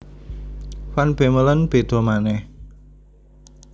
Van Bemmelen béda manèh